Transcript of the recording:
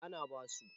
eh ana basu